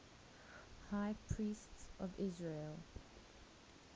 high priests of israel